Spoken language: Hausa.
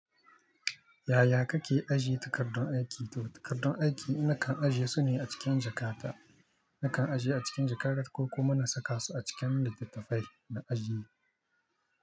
Yaya kake ajiye takardun aiki? To takardun aiki nakan ajjiye su ne a cikin jakata. Nakan ajiye a cikin jakata ko kuma na saka su a cikin littattafai na ajiye.